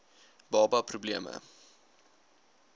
baba pro bleme